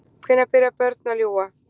Hvenær byrja börn að ljúga?